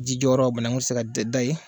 Ji jɔyɔrɔ banaku tɛ se tɛ dan yen.